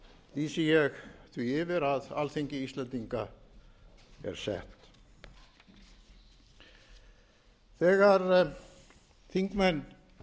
lesið lýsi ég yfir því að alþingi íslendinga er sett þegar þingmenn